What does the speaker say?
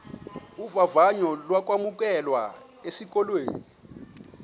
vavanyo lokwamkelwa esikolweni